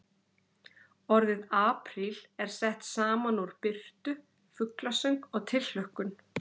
Orðið apríl er sett saman úr birtu, fuglasöng og tilhlökkun.